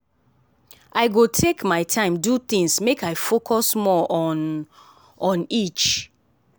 i go take my time do things make i focus more on on each.